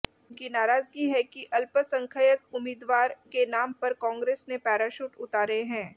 उनकी नाराजगी है कि अल्पसंख्यक उम्मीदवार के नाम पर कांग्रेस ने पैराशूट उतारे हैं